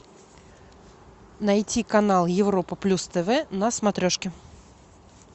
найти канал европа плюс тв на смотрешке